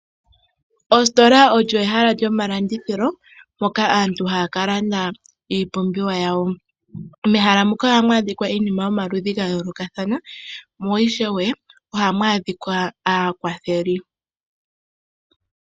Ositola olyo ehala lyomalandithilo moka aantu haya ka landa iipumbiwa yawo. Mehala muka ohamu adhika iinima yomaludhi ga yoolokathana, mo ishewe ohamu adhika aakwatheli.